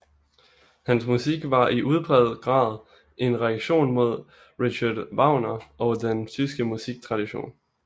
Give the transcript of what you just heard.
Hans musik var i udpræget grad en reaktion mod Richard Wagner og den tyske musiktradition